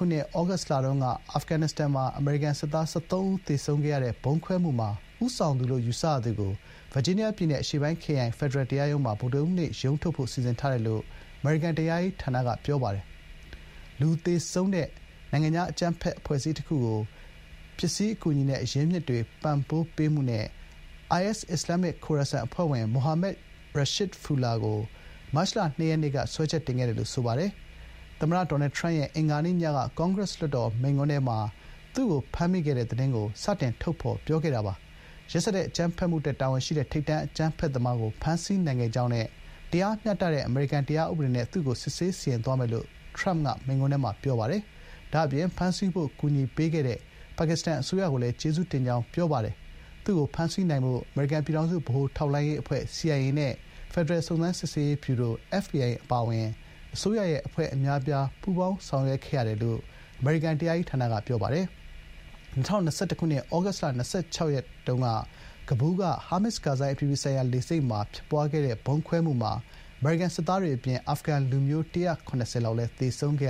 ုနှစ် ဩဂုတ်လတုန်းက အာဖဂန်နစ္စတန်မှာ အမေရိကန်စစ်သား ၁၃ ဦးသေဆုံးခဲ့ရတဲ့ ဗုံးခွဲမှုမှာ ဦးဆောင်သူလို့ ယူဆရသူကို ဗာဂျီးနီးယားပြည်နယ်က အရှေ့ပိုင်း ခရိုင် ဖက်ဒရယ်တရားရုံးမှာ ဗုဒ္ဓဟူးနေ့ ရုံးထုတ်ဖို့ စီစဥ်ထားတယ်လို့ အမေရိကန်တရားရေးဌာနက ပြောပါတယ်။ “လူသေဆုံးစေတဲ့ နိုင်ငံခြားအကြမ်းဖက်အဖွဲ့အစည်းတခုကို ပစ္စည်းအကူအညီနဲ့ အရင်းအမြစ်တွေ ပံ့ပိုးပေးမှု” နဲ့ IS အစ္စလာမ်မစ် ခိုရာဆန် အဖွဲ့ဝင် မိုဟာမက် ရှာရစ်ဖူလာ ခေါ် ဂျာဖာ ကို မတ်လ ၂ ရက်က စွဲချက်တင်ခဲ့တယ်လို့ ဆိုပါတယ်။ သမ္မတ ဒေါ်နယ် ထရမ့်ရဲ့ အင်္ဂါနေ့ညက ကွန်ဂရက်စ်လွှတ်တော် မိန့်ခွန်းထဲမှာ ရှာရစ်ဖူလာကို ဖမ်းမိခဲ့တဲ့ သတင်းကို ထုတ်ဖော် ပြောကြားခဲ့တာပါ။ “ရက်စက် အကြမ်းဖက်မှုအတွက် တာဝန်ရှိတဲ့ ထိပ်တန်းအကြမ်းဖက်သမားကို ဖမ်းဆီးနိုင်ခဲ့ကြောင်းနဲ့ တရားမျှတတဲ့ အမေရိကန် တရားဥပဒေနဲ့ သူ့ကို စစ်ဆေး စီရင်သွားမယ်လို့ ” ထရမ့်က မိန့်ခွန်းထဲမှာ ပြောပါတယ်။ ဒါ့အပြင် “ဖမ်းဆီးဖို့ ကူညီပေးခဲ့တဲ့ ပါကစ္စတန်အစိုးရကိုလည်း ကျေးဇူးတင်” ကြောင်း ပြောပါတယ်။ သူ့ကို ဖမ်းဆီးနိုင်ဖို့ အမေရိကန် ပြည်ထောင်စုဗဟိုထောက်လှမ်းရေးအဖွဲ့ (CIA) နဲ့ ဖက်ဒရယ် စုံစမ်းစစ် ဆေးရေးဗျူရို (FBI) အပါအဝင် အစိုးရ အဖွဲ့အများအပြား ပူးပေါင်းဆောင်ရွက်ခဲ့တယ်လို့ အမေရိကန် တရားရေးဌာနက ပြောပါတယ်။ ၂၀၂၁ ခုနှစ် ဩဂုတ်လ ၂၆ ရက်က ကဘူးလ်ရှိ ဟာမစ် ကာဇိုင်း အပြည်ပြည်ဆိုင်ရာ လေဆိပ်မှာ ဖြစ်ပွားခဲ့တဲ့ ဗုံးခွဲမှုမှာ အမေရိကန် စစ်သားတွေ အပြင် အာဖဂန်လူမျိုး ၁၇၀ ဝန်းကျင်လည်း သေဆုံးခဲ့